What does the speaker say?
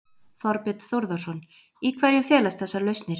Þorbjörn Þórðarson: Í hverju felast þessar lausnir?